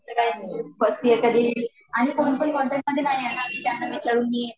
first year तरी आणि कोणपण कॉनटॅक्ट मध्ये नाहीये न की त्यांना विचारून मी